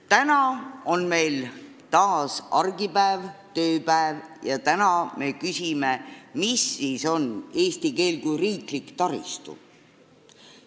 Täna on meil taas argipäev, tööpäev, ja me küsime, mis siis on eesti keel kui riiklik taristu.